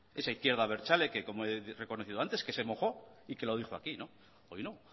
esa izquierda abertzale que como he reconocido antes que se mojo y que lo dijo aquí hoy no